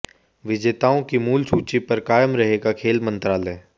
विजेताओं की मूल सूची पर कायम रहेगा खेल मंत्रालय